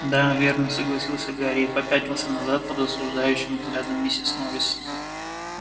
да верно согласился гарри и попятился назад под осуждающим взглядом миссис норрис